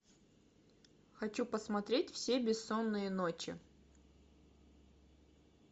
хочу посмотреть все бессонные ночи